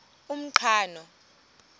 umqhano